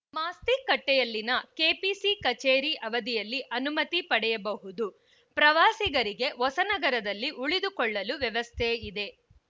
ಮಾಸ್ತಿಕಟ್ಟೆಯಲ್ಲಿನ KPC ಕಚೇರಿ ಅವಧಿಯಲ್ಲಿ ಅನುಮತಿ ಪಡೆಯಬಹುದು ಪ್ರವಾಸಿಗರಿಗೆ ಹೊಸನಗರದಲ್ಲಿ ಉಳಿದುಕೊಳ್ಳಲು ವ್ಯವಸ್ಥೆಯಿದೆ